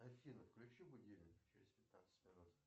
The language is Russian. афина включи будильник через пятнадцать минут